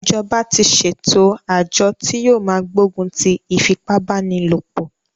Ìjọba tí ṣe ẹ̀tò àjọ tí yóò máa gbógun ti ìfipábánilòpọ̀.